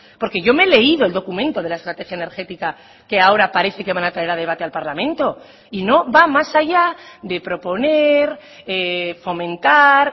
porque yo me he leído el documento de la estrategia energética que ahora parece que van a traer a debate al parlamento y no va más allá de proponer fomentar